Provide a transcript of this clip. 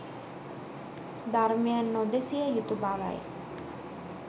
ධර්මය නොදෙසිය යුතු බවයි.